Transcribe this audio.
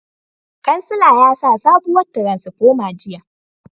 Kansila yasa sabuwar tiransifoma jiya